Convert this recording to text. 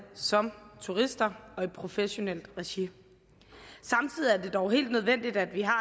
som turister og i professionelt regi samtidig er det dog helt nødvendigt at vi har